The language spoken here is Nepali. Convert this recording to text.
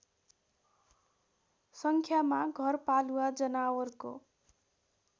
सङ्ख्यामा घरपालुवा जनावरको